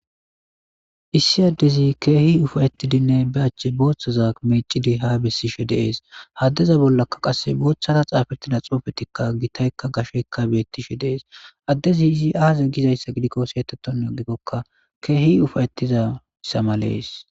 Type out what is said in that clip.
Issi Adezi keehi uffayttidi be acha boththaza bessiddi dizayssa betees. ha adeza bollakka boththara xaafetida xuufetikka gitaykka gashekka beetees. adezi izi aaze gizayssa gidikko keehi ufaytidayssa malees.